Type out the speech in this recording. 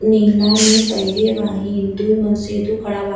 नीला में पेहरी बाहि दू मन से दू खड़ा बा --